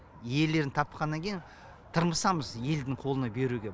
иелерін тапқаннан кейін тырмысамыз елдің қолына беруге